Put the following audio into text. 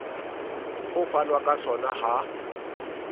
ho fanwa ka sona ha